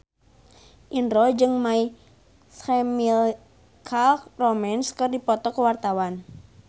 Indro jeung My Chemical Romance keur dipoto ku wartawan